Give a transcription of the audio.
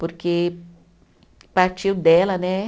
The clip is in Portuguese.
Porque partiu dela, né?